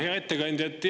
Hea ettekandja!